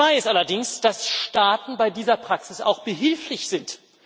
Skandal Nummer zwei ist allerdings, dass Staaten bei dieser Praxis auch behilflich sind.